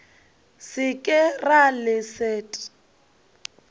se ke ra le leset